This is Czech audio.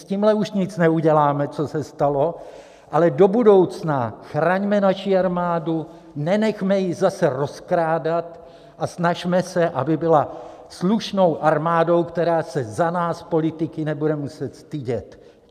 S tímhle už nic neuděláme, co se stalo, ale do budoucna chraňme naši armádu, nenechme ji zase rozkrádat a snažme se, aby byla slušnou armádou, která se za nás politiky nebude muset stydět.